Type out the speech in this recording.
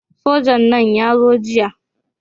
Sojan nan ya zo jiya